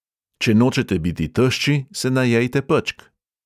Če nočete biti tešči, se najejte pečk.